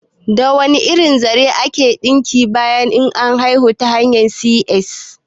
Da wane irin zare ake ɗinki bayan an haihu ta hanyar C.S?